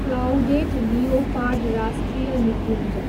clouded leopard राष्ट्रिय निकुञ्ज